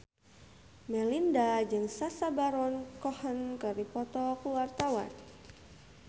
Melinda jeung Sacha Baron Cohen keur dipoto ku wartawan